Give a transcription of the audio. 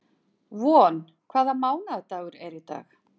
Von, hvaða mánaðardagur er í dag?